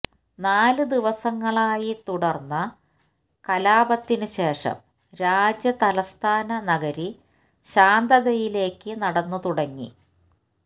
നാലു ദിവസങ്ങളായി തുടര്ന്ന കലാപത്തിനുശേഷം രാജ്യ തലസ്ഥാന നഗരി ശാന്തതയിലേക്ക് നടന്നു തുടങ്ങി